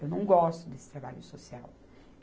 Eu não gosto desse trabalho social.